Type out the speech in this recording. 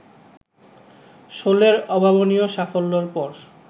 শোলের অভাবনীয় সাফল্যর পর